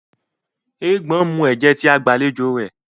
Eégbọn nmú ẹjẹ tí àgbàlẹjọ rẹ